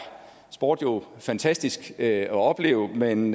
sport jo fantastisk at opleve men